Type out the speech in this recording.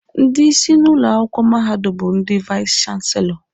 Ndị isi na ụlọ akwụkwọ mahadum bụ ndị vais chanselọ.